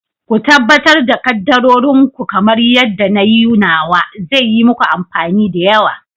Ku tabbatar da kaddarorin ku kamar yadda na yi nawa, zai yi muku amfani da yawa.